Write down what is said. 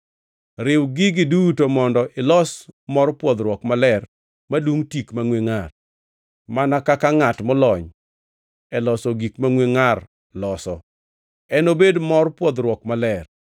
Riw gigi duto mondo ilos mor pwodhruok maler madungʼ tik mangʼwe ngʼar mana kaka ngʼat molony e loso gik mangʼwe ngʼar loso. Enobed mor pwodhruok maler.